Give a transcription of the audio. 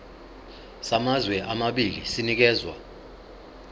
samazwe amabili sinikezwa